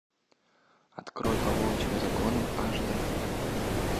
открой по волчьим законам аш д